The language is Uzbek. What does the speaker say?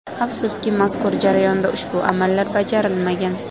Afsuski, mazkur jarayonda ushbu amallar bajarilmagan.